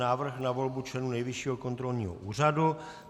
Návrh na volbu členů Nejvyššího kontrolního úřadu